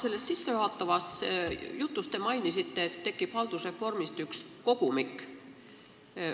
Oma sissejuhatavas jutus te mainisite, et haldusreformi kohta koostatakse üks kogumik.